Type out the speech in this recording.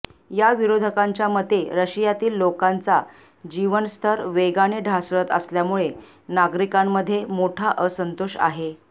या विरोधकांच्या मते रशियातील लोकांचा जीवनस्तर वेगाने ढासळत असल्यामुळे नागरिकांमध्ये मोठा असंतोष आहे